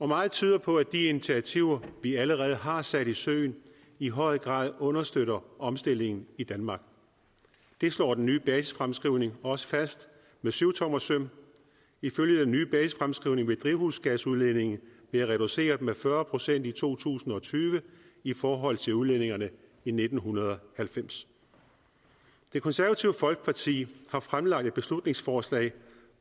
meget tyder på at de initiativer vi allerede har sat i søen i høj grad understøtter omstillingen i danmark det slår den nye basisfremskrivning også fast med syvtommersøm ifølge den nye basisfremskrivning vil drivhusgasudledningen være reduceret med fyrre procent i to tusind og tyve i forhold til udledningerne i nitten halvfems det konservative folkeparti har fremsat et beslutningsforslag